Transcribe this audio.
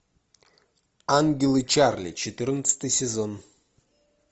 ангелы чарли четырнадцатый сезон